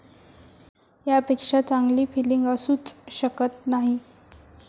यापेक्षा चांगली फिलींग असूच शकत नाही.